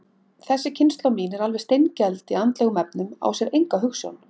Þessi kynslóð mín er alveg steingeld í andlegum efnum, á sér enga hugsjón.